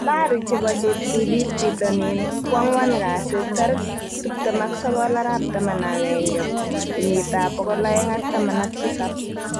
Habari chebo cheptulit bitonin koangwan kasi 29.11.2017